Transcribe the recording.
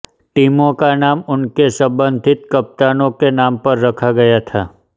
टीमों का नाम उनके संबंधित कप्तानों के नाम पर रखा गया था